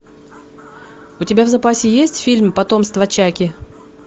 у тебя в запасе есть фильм потомство чаки